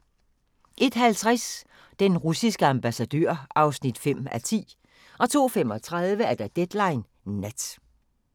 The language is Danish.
01:50: Den russiske ambassadør (5:10) 02:35: Deadline Nat